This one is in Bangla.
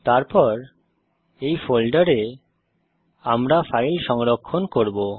তারপর এই ফোল্ডারে আমরা ফাইল সংরক্ষণ করব